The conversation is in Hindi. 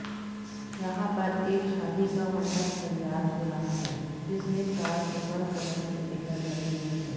यहाँ पर एक शादी का मंडप तैयार हो रहा है जिसमे चार सिल्वर कलर के पिलर लग हुए हैं।